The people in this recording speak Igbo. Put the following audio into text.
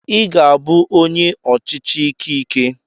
I ga-abụ onye ọchịchị ike ike.